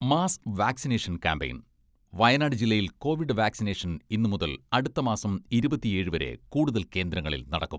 Mass vaccination campaign, Wayanad ജില്ലയിൽ covid vaccination ഇന്ന് മുതൽ അടുത്ത മാസം ഇരുപത്തിയേഴ് വരെ കൂടുതൽ കേന്ദ്രങ്ങളിൽ നടക്കും.